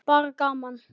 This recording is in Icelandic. Bara gaman.